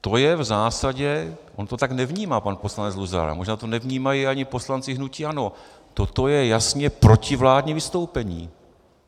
To je v zásadě - on to tak nevnímá pan poslanec Luzar, možná to nevnímají ani poslanci hnutí ANO - toto je jasně protivládní vystoupení.